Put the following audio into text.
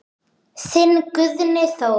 Þinn Guðni Þór.